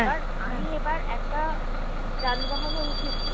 আমি এবার একটা যানবাহনে উঠেছি